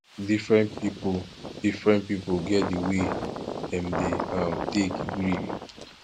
differen pipu differen pipu get di way wey dem dey um take grief